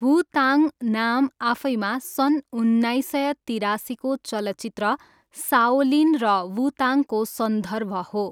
वु ताङ नाम आफैमा सन् उन्नाइस सय तिरासीको चलचित्र साओलिन र वु ताङको सन्दर्भ हो।